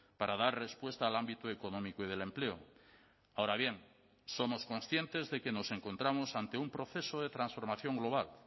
para dar respuesta al ámbito económico y del empleo ahora bien somos conscientes de que nos encontramos ante un proceso de transformación global